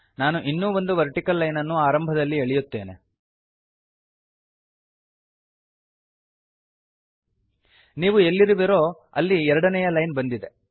ನಾನು ಇನ್ನೂ ಒಂದು ವರ್ಟಿಕಲ್ ಲೈನನನ್ನು ಆರಂಭದಲ್ಲಿ ಎಳೆಯುತ್ತೇನೆಬರೆಯುತ್ತೇನೆ ನೀವು ಎಲ್ಲಿರುವಿರೋ ಅಲ್ಲಿ ಎರಡನೆಯ ಲೈನ್ ಬಂದಿದೆ